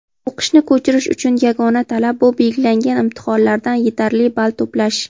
O‘qishni ko‘chirish uchun yagona talab bu belgilangan imtihonlardan yetarli ball to‘plash.